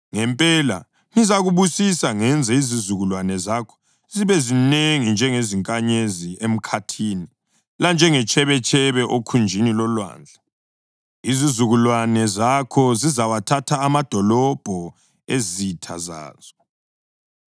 ngempela ngizakubusisa ngenze izizukulwane zakho zibe zinengi njengezinkanyezi emkhathini lanjengetshebetshebe okhunjini lolwandle. Izizukulwane zakho zizawathatha amadolobho ezitha zazo,